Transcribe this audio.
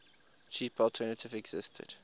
cheaper alternative existed